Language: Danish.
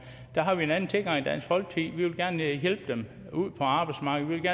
der har vi en anden tilgang i dansk folkeparti vi vil gerne hjælpe dem ud på arbejdsmarkedet